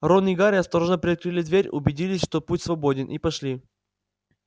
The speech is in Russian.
рон и гарри осторожно приоткрыли дверь убедились что путь свободен и пошли